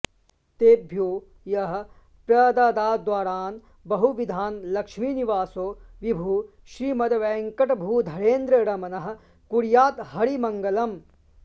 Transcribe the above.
तेभ्यो यः प्रददाद्वरान् बहुविधान् लक्ष्मीनिवासो विभुः श्रीमद्वेङ्कटभूधरेन्द्ररमणः कुर्याद्धरिर्मङ्गलम्